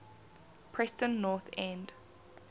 preston north end